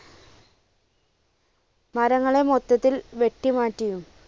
മരങ്ങളെ മൊത്തത്തിൽ വെട്ടിമാറ്റിയും